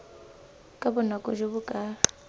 ka bonako jo bo ka